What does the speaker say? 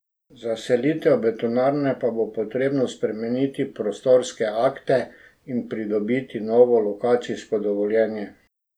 Za selitev betonarne pa bo potrebno spremeniti prostorske akte in pridobiti novo lokacijsko dovoljenje.